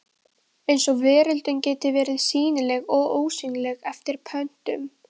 Eins og veröldin geti verið sýnileg og ósýnileg eftir pöntun!